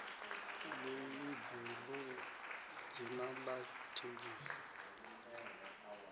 ḽeibu ḽu dzina ḽa thengiso